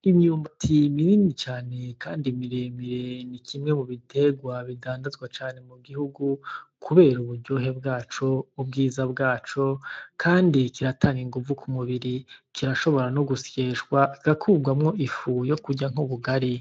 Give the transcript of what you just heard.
Imyumbati minini cane kandi mire mire ni kimwe mu biterwa bidandazwa cane mu gihugu kubera uburyohe bwaco, ubwiza bwaco, kandi kiratanga inguvu ku mubiri. Kirashobora no gusyeshwa, kigakuwamwo ifu yo kurya nk'ubugari.